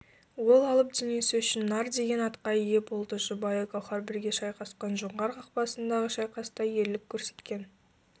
ол алып денесі үшін нар деген атқа ие болды жұбайы гауһар бірге шайқасқан жоңғар қақпасындағы шайқаста ерлік көрсеткен